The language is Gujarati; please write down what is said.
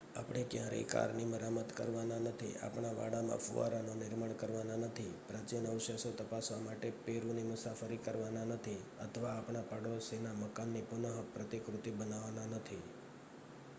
આપણે ક્યારેય કારની મરામત કરવાના નથી આપણા વાડામાં ફુવારાનું નિર્માણ કરવાના નથી પ્રાચિન અવશેષો તપાસવા માટે પેરુની મુસાફરી કરવાના નથી અથવા આપણા પાડોશીના મકાનની પુન પ્રતિકૃતિ બનાવવાના નથી